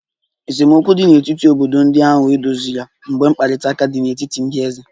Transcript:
Esemokwu dị n'etiti obodo ndị ahụ edoziri mgbe mkparịta ụka dị n'etiti ndị eze